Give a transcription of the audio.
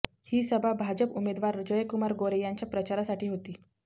ही सभा भाजप उमेदवार जयकुमार गोरे यांच्या प्रचारासाठी होती